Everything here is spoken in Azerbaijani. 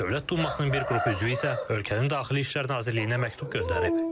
Dövlət dumasının bir qrupu üzvü isə ölkənin Daxili İşlər Nazirliyinə məktub göndərib.